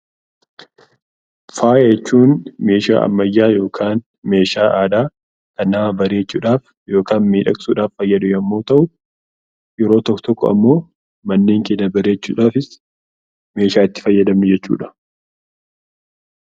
Faaya jechuun meeshaa ammayyaa yookaan meeshaa aadaa kan nama bareechuudhaaf yookaan miidhagsuudhaaf kan fayyadu yemmuu ta'u, yeroo tokko tokko immoo manneen cidhaa bareechuudhaafis meeshaa itti fayyadamnu jechuudha.